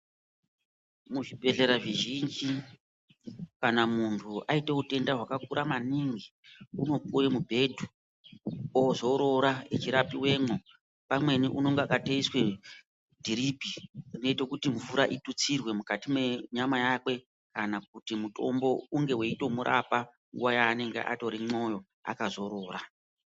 Muzvibhedhlera zvizhinji kana muntu aita utenda hwakakura manhingi unopiwe mubhedhu ozorora achirapiwemo. Pamweni unenge akatoiswe dhiripi rinoite kuti mvura itutsirwe mukati menyama yakwe kana kuti mutombo unge weyitomurapa nguva yaanenge arimwo akazorora.